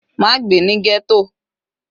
Má gbé ní ghetto.